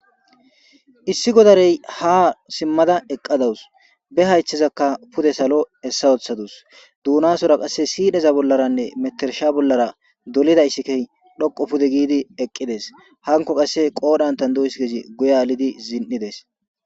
issi godarey ha simmada eqqadawus be hayththezaka pude salo hessa wothadus duunasora qasse siineza bollaranne metersha bollara dolida issikey dhoqo pude giidi eqqides hanko qasse qoodantan du7iskezi guya lidi zin7ides